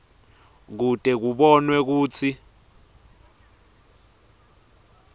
kute kubonwe kutsi